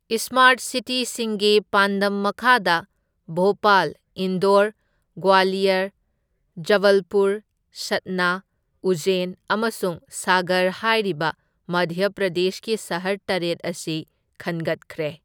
Smart ꯁꯤꯇꯤꯁꯤꯡꯒꯤ ꯄꯥꯟꯗꯝ ꯃꯈꯥꯗ ꯚꯣꯄꯥꯜ, ꯏꯟꯗꯣꯔ, ꯒ꯭ꯋꯥꯂꯤꯌꯔ, ꯖꯕꯜꯄꯨꯔ, ꯁꯠꯅꯥ, ꯎꯖꯦꯟ ꯑꯃꯁꯨꯡ ꯁꯥꯒꯔ ꯍꯥꯏꯔꯤꯕ ꯃꯙ꯭ꯌ ꯄ꯭ꯔꯗꯦꯁꯀꯤ ꯁꯍꯔ ꯇꯔꯦꯠ ꯑꯁꯤ ꯈꯟꯒꯠꯈ꯭ꯔꯦ꯫